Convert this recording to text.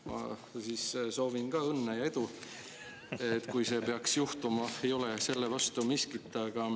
Ma siis soovin ka õnne ja edu, kui see peaks juhtuma, ei ole selle vastu miskit.